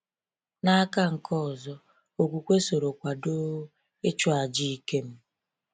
N’aka nke ọzọ, okwukwe soro kwado ịchụ aja Ikem.